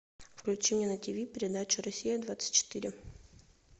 включи мне на тв передачу россия двадцать четыре